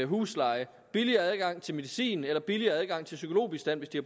husleje billigere adgang til medicin eller billigere adgang til psykologbistand hvis de